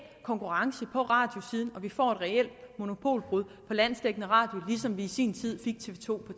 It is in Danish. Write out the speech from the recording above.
konkurrence på radiosiden og vi får et reelt monopolbrud for landsdækkende radio ligesom vi i sin tid fik tv to